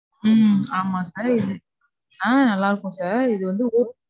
உம் ஆமா sir. இது ஆஹ் நல்லா இருக்கும் sir. இது வந்து~